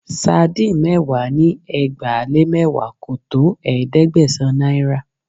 Sardine mẹ́wàá ni ẹgbàá-lé-mẹ́wàá kò tó ẹ̀ẹ́dẹ́gbẹ̀sán naira